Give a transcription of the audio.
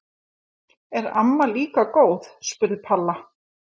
Er amma líka góð? spurði Palla.